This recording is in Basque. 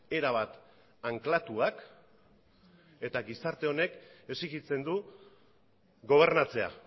erabat anklatuak eta gizarte honek exijitzen du gobernatzea